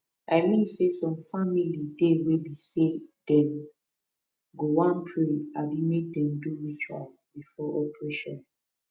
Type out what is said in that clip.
i mean saysome family dey wey be say dem go wan pray abi make dem do ritual before operation